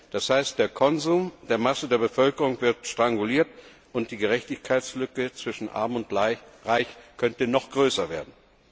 Das heißt, der Konsum der Masse der Bevölkerung wird stranguliert, und die Gerechtigkeitslücke zwischen Arm und Reich könnte noch größer werden.